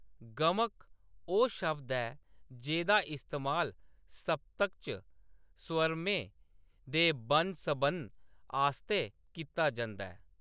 गमक ओह्‌‌ शब्द ऐ जेह्‌दा इस्तेमाल सप्तक च स्वरमें दे बन्नसबन्न आस्तै कीता जंदा ऐ।